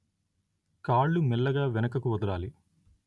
కాళ్ళు మెల్లగా వెనుకకు వదలాలి